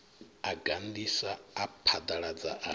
a gandisa a phaḓaladza a